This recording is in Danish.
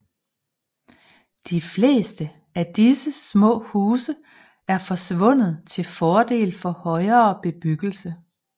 De fleste af disse små huse er forsvundet til fordel for højere bebyggelse